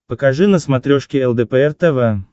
покажи на смотрешке лдпр тв